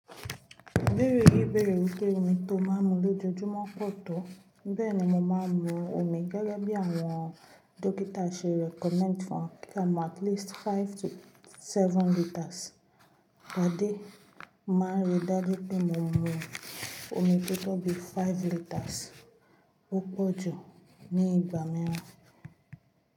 Ibeere yi beere wipe omi to n maa n mu lojumo po to. Beeni mo maa mu omi gege bi awon dọkịta se recommend fun wa pe ka mu at least five to seven litres per day. Mo maa n ri daju pe mo mu omi toto bi five liters. O po ju ni igba miiran.